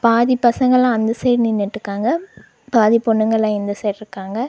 பாதி பசங்களா அந்த சைட் நின்னுட்டுக்காங்க பாதி பொண்ணுங்கள்லா இந்த சைட்ருக்காங்க .